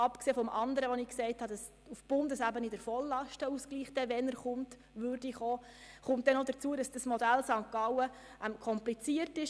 Abgesehen vom möglichen vollen Lastenausgleich auf Bundesebene kommt hinzu, dass dieses Modell aus St. Gallen kompliziert ist.